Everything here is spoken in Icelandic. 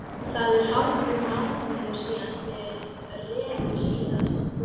Það er hálfur mánuður síðan þeir reru síðast.